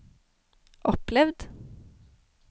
opplevd